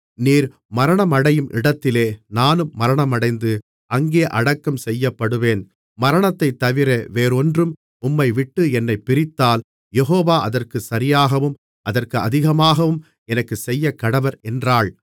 நீர் மரணமடையும் இடத்தில் நானும் மரணமடைந்து அங்கே அடக்கம்செய்யப்படுவேன் மரணத்தைத்தவிர வேறொன்றும் உம்மை விட்டு என்னைப் பிரித்தால் யெகோவா அதற்குச் சரியாகவும் அதற்கு அதிகமாகவும் எனக்குச் செய்யக்கடவர் என்றாள்